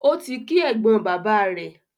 Ó ti kí ẹ̀gbọ́n bàbáà rẹ̀.